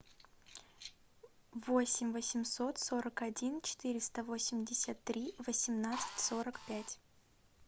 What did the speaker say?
восемь восемьсот сорок один четыреста восемьдесят три восемнадцать сорок пять